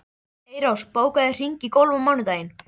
Eyrós, bókaðu hring í golf á mánudaginn.